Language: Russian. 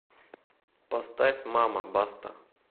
поставь мама баста